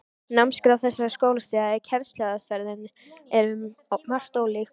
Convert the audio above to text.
Námskrá þessara skólastiga og kennsluaðferðirnar eru um margt ólíkar.